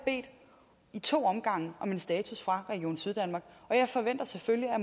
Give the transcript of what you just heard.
i to omgange om en status fra region syddanmark og jeg forventer selvfølgelig at